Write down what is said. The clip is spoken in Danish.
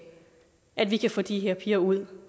at vi kan få de her piger ud